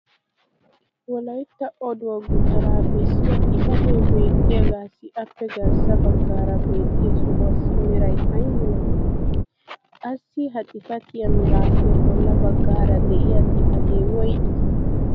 wolaytta oduwaa gutaraa bessiya xifatee beettiyaagaassi appe garssa bagaaara beettiya sohuwaassi meray ayi malatii? qassi ha xifattiya meraappe bolla bagaara diya xifatee woygii?